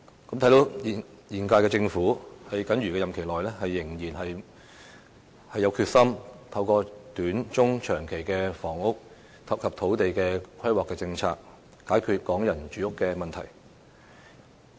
由此可見，現屆政府在僅餘的任期內仍然有決心透過短、中、長期的房屋及土地規劃政策，解決港人的住屋問題。